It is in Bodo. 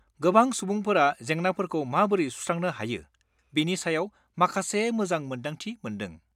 गोबां सुबुंफोरा जेंनाफोरखौ माबोरै सुस्रांनो हायो बेनि सायाव माखासे मोजां मोनदांथि मोनदों।